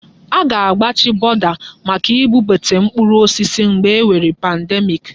Aga-agbachi bọda maka ibubata mkpụrụ osisi mgbe e nwere pandemiiki.